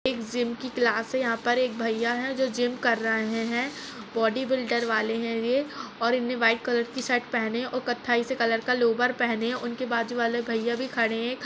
एक जिम की क्लास है यहाँ पर एक भईया हैं जो जिम कर रहें हैं। बॉडी बिल्डर वाले हैं वे और इनने वाइट कलर की शर्ट पहने और कत्थाई से कलर का लोवर पहने उनके बाजू वाले भईया भी खड़े हैं।